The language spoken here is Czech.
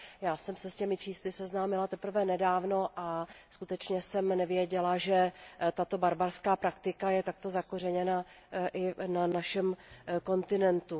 Já jsem se s těmi čísly seznámila teprve nedávno a skutečně jsem nevěděla, že tato barbarská praktika je takto zakořeněná i na našem kontinentu.